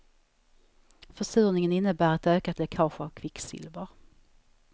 Försurningen innebär ett ökat läckage av kvicksilver.